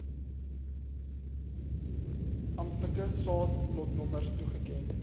amptelike saadlotnommers toegeken